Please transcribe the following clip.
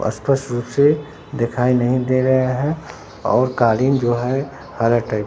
स्पष्ट रूप से दिखाई नहीं दे रहे हैं और कालीन जो है हरा टाइप --